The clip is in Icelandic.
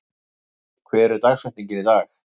Franklin, hver er dagsetningin í dag?